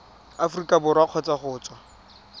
aforika borwa kgotsa go tswa